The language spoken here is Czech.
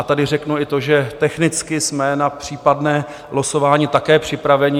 A tady řeknu i to, že technicky jsme na případné losování také připraveni.